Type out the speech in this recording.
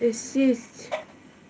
присесть